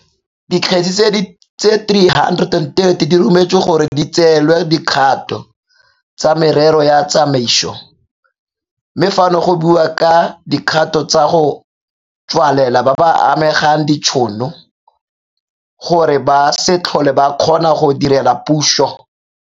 Dikgetse di le 330 di rometswe gore di tseelwe dikgato tsa merero ya tsamaiso, mme fano go buiwa ka dikgato tsa go tswalela ba ba amegang ditšhono, gore ba se tlhole ba kgona go direla puso.